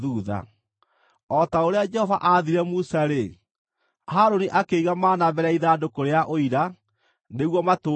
O ta ũrĩa Jehova aathire Musa-rĩ, Harũni akĩiga mana mbere ya ithandũkũ rĩa Ũira, nĩguo matũũre ho.